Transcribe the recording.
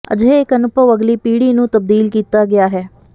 ਅਜਿਹੇ ਇੱਕ ਅਨੁਭਵ ਅਗਲੀ ਪੀੜ੍ਹੀ ਨੂੰ ਤਬਦੀਲ ਕੀਤਾ ਗਿਆ ਹੈ